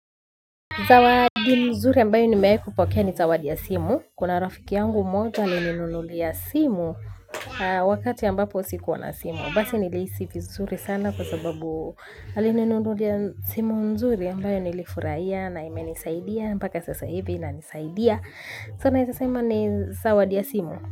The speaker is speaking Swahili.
Zawadi nzuri ambayo nimewai kupokea ni zawadi ya simu. Kuna rafiki yangu mmoja alininunulia simu wakati ambapo sikuwa na simu. Basi nilihisi vizuri sana kwa sababu alininunulia simu nzuri ambayo nilifurahia na ime nisaidia. Mpaka sasa hivi inanisaidia. Sasa naeza sema ni zawadi ya simu.